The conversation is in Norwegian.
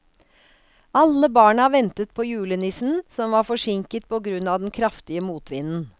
Alle barna ventet på julenissen, som var forsinket på grunn av den kraftige motvinden.